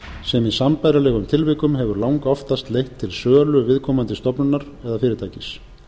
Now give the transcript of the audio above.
sem í sambærilegum tilvikum hefur langoftast leitt til sölu viðkomandi stofnunar eða fyrirtækis